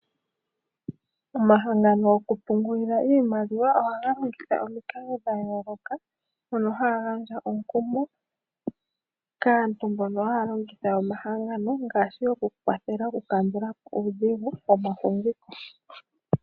Omahangano goku pungulila iimaliwa ohaga longitha omikalo dha yooloka mono haya gandja omukumo kaantu mbono haya longitha omahangano ngaashi okukwathela okukandulapo uudhigu womafumviko.